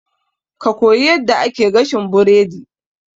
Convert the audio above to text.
Ka koyi yadda ake gashin burodi